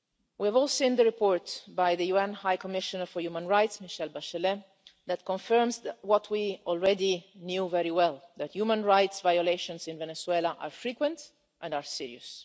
We have all seen the report by the UN High Commissioner for Human Rights, Michelle Bachelet, that confirms what we already knew very well that human rights violations in Venezuela are frequent and are serious.